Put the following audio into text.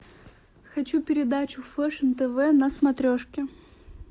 хочу передачу фэшн тв на смотрешке